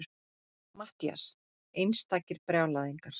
MATTHÍAS: Einstakir brjálæðingar!